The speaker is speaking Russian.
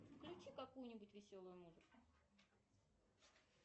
включи какую нибудь веселую музыку